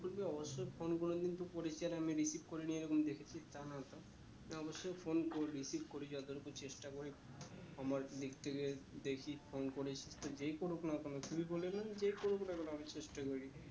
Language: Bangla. অবশ্যই phone কোনোদিন তুই করেছি আর আমি recieve করি নি এরকম দেখেছিস হ্যাঁ অবশ্যই phone করবি recieve করি যতদূর হোক চেষ্টা করি আমার দিক থেকে দেখি phone করেছে যেই করুক না কেন